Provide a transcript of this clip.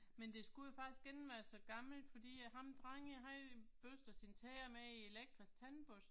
Men det skulle jo faktisk ikke være så gammelt fordi at ham drengen han børste sine tænder med en elektrisk tandbørste